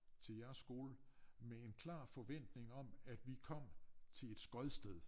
Til jeres skole med en klar forventning om at vi kom til et skodsted